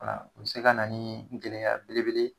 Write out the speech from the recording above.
Wala o bi se kana nii gɛlɛya belebele